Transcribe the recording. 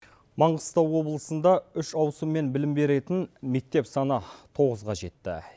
маңғыстау облысында үш ауысыммен білім беретін мектеп саны тоғызға жетті